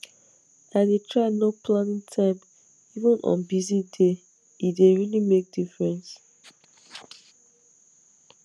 i dey try no planning time even on busy dayse dey really make difference